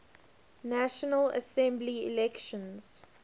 national assembly elections